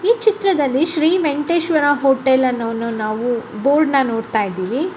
ಈ ಚಿತ್ರದಲ್ಲಿ ನಾವು ಶ್ರೀ ವೆಂಕಟೇಶ್ವರ ಹೋಟೆಲ್ ನ ಒಂದು ಬಾರ್ಡ್ನ ನೊಡ್ತಾಯಿದಿವಿ.